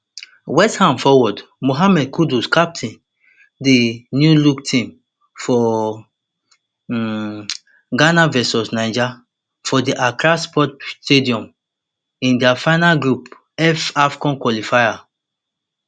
westham forward mohammed kudus captain di newlook team for um ghana vs niger for di accra sports stadium in dia final group f afcon qualifier